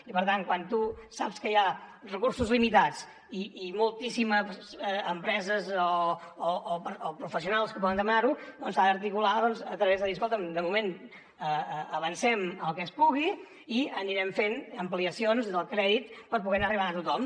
i per tant quan tu saps que hi ha recursos limitats i moltíssimes empreses o professionals que poden demanar ho doncs s’ha d’articular a través de dir escolta’m de moment avancem el que es pugui i anirem fent ampliacions del crèdit per poder anar arribant a tothom